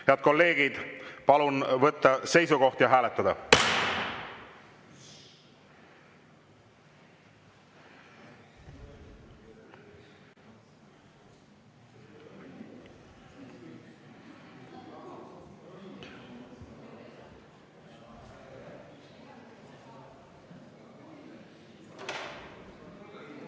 Head kolleegid, palun võtta seisukoht ja hääletada!